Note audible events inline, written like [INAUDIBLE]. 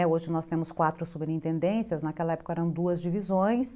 [UNINTELLIGIBLE] Hoje nós temos quatro subintendências, naquela época eram duas divisões.